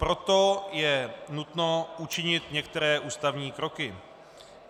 Proto je nutno učinit některé ústavní kroky.